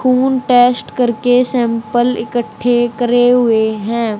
खून टेस्ट करके सैंपल इकट्ठे करे हुए हैं।